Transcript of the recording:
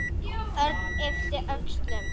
Örn yppti öxlum.